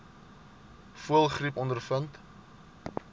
voëlgriep ondervind